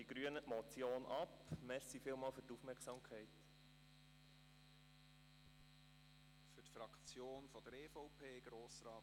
Aufgrund dieser Ausführungen lehnen die Grünen die Motion ab.